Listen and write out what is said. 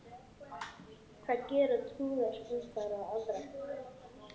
Hvað gera trúaðir umfram aðra?